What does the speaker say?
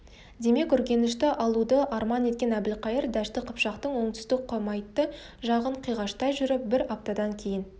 демек үргенішті алуды арман еткен әбілқайыр дәшті қыпшақтың оңтүстік құмайтты жағын қиғаштай жүріп бір аптадан кейін